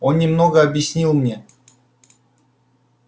он немного объяснил мне